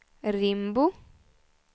Rimbo